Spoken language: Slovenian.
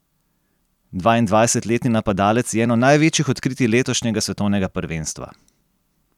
Dvaindvajsetletni napadalec je eno največjih odkritij letošnjega svetovnega prvenstva.